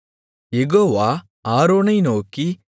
யெகோவா ஆரோனை நோக்கி